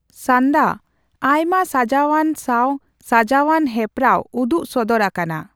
ᱥᱟᱱᱫᱟ ᱟᱭᱢᱟ ᱥᱟᱡᱟᱣᱟᱱᱼᱥᱟᱣ ᱥᱟᱡᱟᱣᱟᱱ ᱦᱮᱯᱨᱟᱣ ᱩᱫᱩᱜ ᱥᱚᱫᱚᱨ ᱟᱠᱟᱱᱟ ᱾